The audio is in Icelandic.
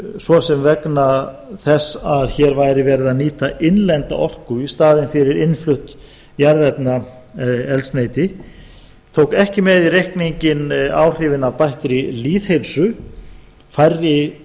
svo sem vegna þess að hér væri verið að nýta innlenda orku í staðinn fyrir innflutt jarðefnaeldsneyti tóku ekki með í reikninginn áhrifin af bættri lýðheilsu færri